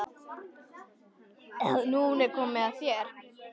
Nú er komið að þér.